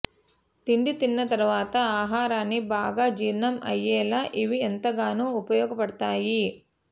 తిండి తిన్న తర్వాత ఆహారాన్ని బాగా జీర్ణం అయ్యేలా ఇవి ఎంతగానో ఉపయోగపడతాయి